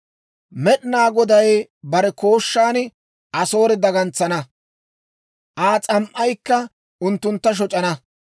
Med'inaa Goday bare kooshshan Asoore dagantsana. Aa s'am"aykka unttuntta shoc'ana.